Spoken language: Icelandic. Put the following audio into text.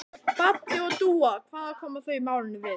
Baddi og Dúa, hvað koma þau málinu við?